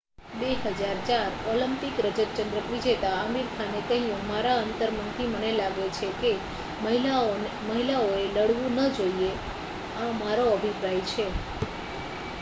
"2004 Olympic રજત ચંદ્રક વિજેતા આમિર ખાને કહ્યું "મારા અંતરમનથી મને લાગે છે કે મહિલાઓએ લડવું ન જોઈએ. આ મારો અભિપ્રાય છે.""